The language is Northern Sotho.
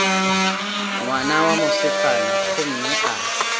ngwana wa mosetsana gomme a